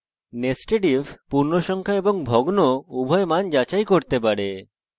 nested if পূর্ণসংখ্যা এবং ভগ্ন উভয় মান যাচাই করতে পারে